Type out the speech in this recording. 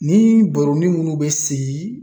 Ni baroni nunnu bɛ sigi